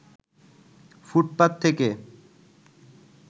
ফুটপাত থেকে